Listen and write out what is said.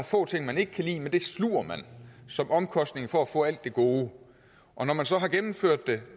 få ting man ikke kan lide men det sluger man som omkostning for at få alt det gode og når man så har gennemført det